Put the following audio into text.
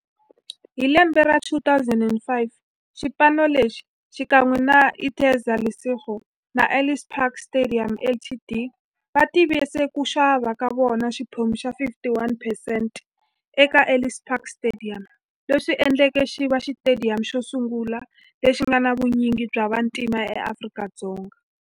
Hi lembe ra 2005, xipano lexi, xikan'we na Interza Lesego na Ellis Park Stadium Ltd, va tivise ku xava ka xona xiphemu xa 51 percent eka Ellis Park Stadium, leswi endleke leswaku xiva xitediyamu xosungula lexi nga na vunyingi bya vantima e Afrika-Dzonga.